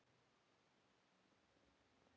Óli kinkaði kolli.